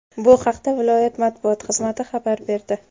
Bu haqda viloyat matbuot xizmati xabar berdi .